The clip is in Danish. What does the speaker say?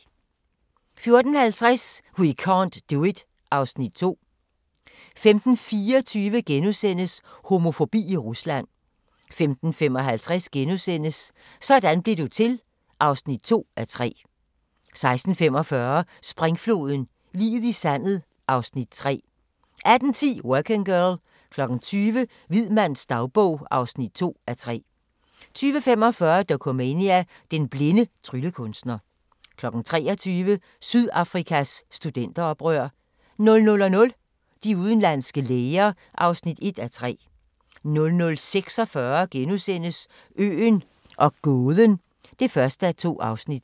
14:50: We can't do it (Afs. 2) 15:24: Homofobi i Rusland * 15:55: Sådan blev du til (2:3)* 16:45: Springfloden - liget i sandet (Afs. 3) 18:10: Working Girl 20:00: Hvid mands dagbog (2:3) 20:45: Dokumania: Den blinde tryllekunstner 23:00: Sydafrikas studenteroprør 00:00: De udenlandske læger (1:3) 00:46: Øen og gåden (1:2)*